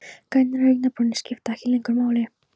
Grænar augnabrúnir skipta ekki lengur máli.